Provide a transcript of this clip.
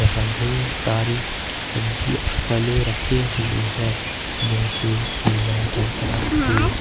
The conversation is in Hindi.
हा ढ़ेर सारी सब्जी और फलें रखे हुई है जैसे केला संतरा सेब।